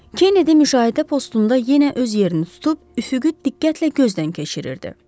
Kenedi müşahidə postunda yenə öz yerini tutub üfüqü diqqətlə gözdən keçirirdi.